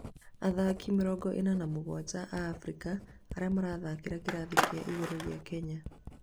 athaki mĩrongo ĩna na mũgwanja a Afrika arĩa marathakĩra kĩrathi kĩa igũrũ gĩa Kenya